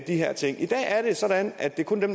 her ting i dag er det sådan at det kun er